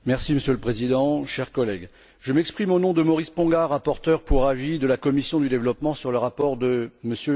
Monsieur le président, chers collègues, je m'exprime au nom de Maurice Ponga, rapporteur pour avis de la commission du développement, sur le rapport de M.